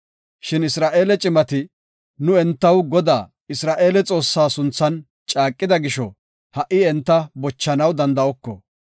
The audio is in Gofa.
Shin Isra7eele cimati, “Nu entaw Godaa Isra7eele Xoossaa sunthan caaqida gisho, ha77i enta bochanaw danda7oko.